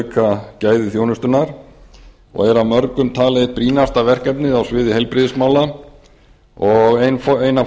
auka gæði þjónustunnar og er að mörgum talið eitt brýnasta verkefnið á sviði heilbrigðismála og ein af